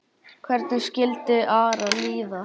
Hvernig skildi Ara líða?